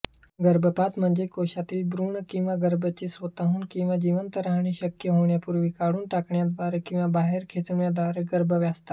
गर्भपातम्हणजे कोशातीलभ्रूण किंवा गर्भते स्वतःहून किंवा जिवंत राहणेशक्य होण्यापूर्वी काढून टाकण्याद्वारे किंवा बाहेर खेचण्याद्वारेगर्भावस्था